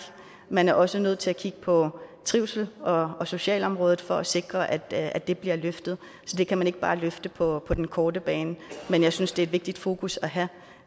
man er også nødt til at kigge på trivsel og socialområdet for at sikre at at det bliver løftet det kan man ikke bare løfte på den korte bane men jeg synes det er et vigtigt fokus at have